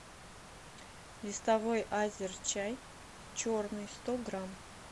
листовой азерчай черный сто грамм